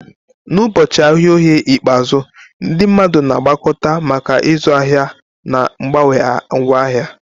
N'ụbọchị ahịa Oye ikpeazụ, ndị mmadụ na-agbakọta maka ịzụ ahịa na mgbanwe ngwaahịa.